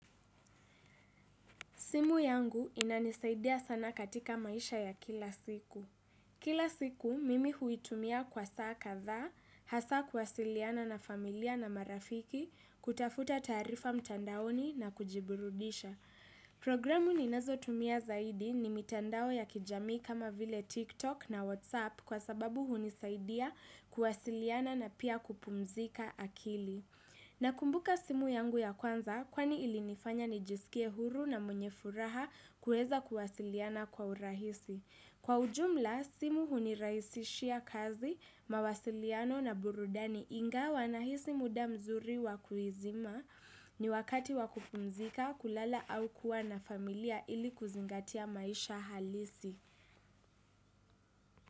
Simu yangu inanisaidia sana katika maisha ya kila siku. Kila siku, mimi huitumia kwa saa katha, hasa kwasiliana na familia na marafiki, kutafuta tarifa mtandaoni na kujiburudisha. Programu ninazo tumia zaidi ni mitandao ya kijamii kama vile TikTok na WhatsApp kwa sababu hunisaidia kuwasiliana na pia kupumzika akili. Nakumbuka simu yangu ya kwanza kwani ilinifanya nijisikie huru na mwenye furaha kuweza kuwasiliana kwa urahisi. Kwa ujumla, simu hunirahisishia kazi, mawasiliano na burudani ingawa nahisi muda mzuri wakuizima ni wakati wa kupumzika kulala au kuwa na familia ili kuzingatia maisha halisi.